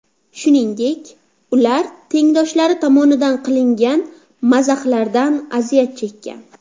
Shuningdek, ular tengdoshlari tomonidan qilingan mazahlardan aziyat chekkan.